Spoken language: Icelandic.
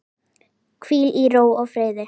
Hvíl í ró og friði.